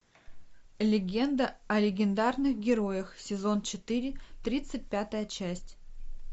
легенда о легендарных героях сезон четыре тридцать пятая часть